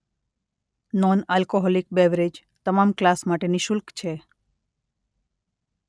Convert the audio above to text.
Non alcoholic beverage તમામ class માટે નિશુલ્ક છે.